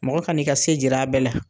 Mɔgɔ ka n'i ka se jir'a bɛɛ la